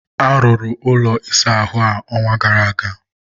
arụrụ ụlọ ịsa ahụ a, ọnwa gara aga.